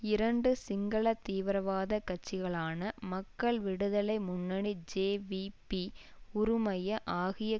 இரண்டு சிங்கள தீவிரவாத கட்சிகளான மக்கள் விடுதலை முன்னணி ஜேவிபி உறுமய ஆகியக்